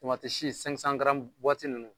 Tamatisi ninnu